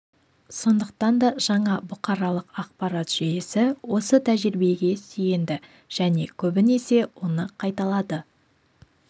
сондықтан жаңа бұқаралық ақпарат жүйесі осы тәжірибеге сүйенді және көбінесе оны қайталады